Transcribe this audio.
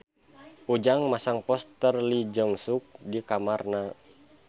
Ujang masang poster Lee Jeong Suk di kamarna